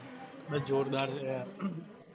બે જોરદાર છે યાર. ઉહ